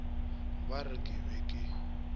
ba re ke be ke